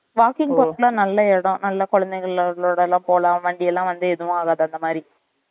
walking போறதுக்கு எல்லாம் நல்ல இடம் நல்லா குழந்தைகளோடுலாம் போலாம் வண்டி எல்லாம் வந்து ஏதும் ஆகாது அந்த மாறி